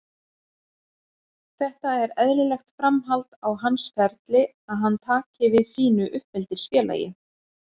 Þetta er eðlilegt framhald á hans ferli að hann taki við sínu uppeldisfélagi.